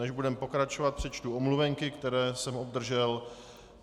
Než budeme pokračovat, přečtu omluvenky, které jsem obdržel.